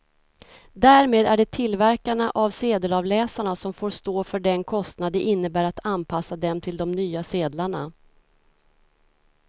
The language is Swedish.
Därmed är det tillverkarna av sedelavläsarna som får stå för den kostnad det innebär att anpassa dem till de nya sedlarna.